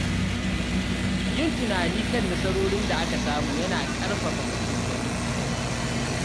Yin tunani kan nasarorin da aka samu yana ƙarfafa mutum don gaba.